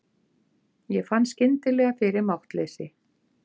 Ég fann skyndilega fyrir máttleysi.